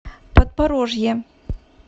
подпорожье